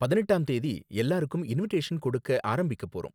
பதினெட்டாம் தேதி எல்லாருக்கும் இன்விடேஷன் கொடுக்க ஆரம்பிக்க போறோம்.